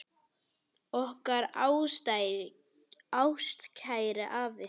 Okkar ástkæri afi.